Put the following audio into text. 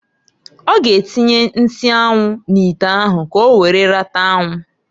Ọ ga atinye nsi anwu n'ite ahu k'owere rata anwụ.